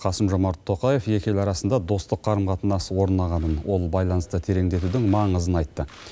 қасым жомарт тоқаев екі ел арасында достық қарым қатынас орнағанын ол байланысты тереңдетудің маңызын айтты